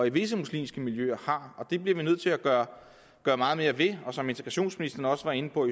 i visse muslimske miljøer og det bliver vi nødt til at gøre meget mere ved som integrationsministeren var inde på og